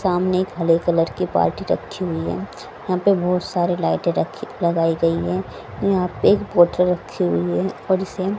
सामने एक हरे कलर की बाल्टी रखी हुई है यहां पे बहुत सारी लाइटे रखी लगाई गई है यहां पे एक बोतल रखी हुई है और इसे --